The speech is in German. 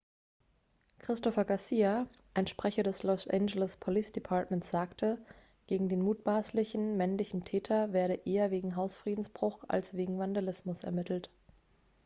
christopher garcia ein sprecher des los angeles police departments sagte gegen den mutmaßlichen männlichen täter werde eher wegen hausfriedensbruch als wegen vandalismus ermittelt